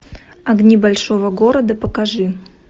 огни большого города покажи